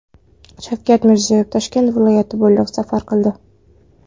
Shavkat Mirziyoyev Toshkent viloyati bo‘ylab safar qildi.